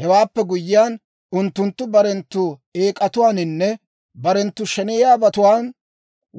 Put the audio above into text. Hewaappe guyyiyaan, unttunttu barenttu eek'atuwaaninne barenttu sheneyiyaabatuwaan,